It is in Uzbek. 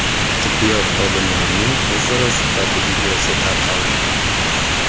Tibbiyot xodimlarining o‘zaro suhbati videosi tarqaldi.